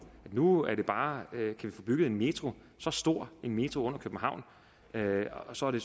nu kan vi bare få bygget en metro så stor en metro under københavn og så er det